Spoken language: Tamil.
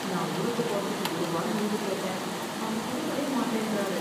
நான் ஊருக்கு போறதுக்கு ஒரு வாரம் லீவு கேட்டேன் அவர் கொடுக்கவே மாட்டேன்ட்டாரு.